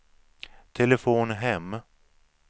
telefon hem